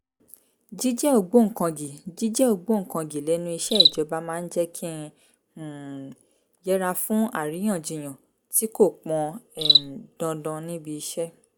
jíjẹ́ ògbóǹkangì jíjẹ́ ògbóǹkangì lẹ́nu iṣẹ́ ìjọba máa ń jẹ́ kí n um yẹra fún àríyànjiyàn tí kò pọn um dandan níbi iṣẹ́